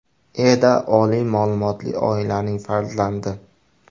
Eda oliy ma’lumotli oilaning farzandi.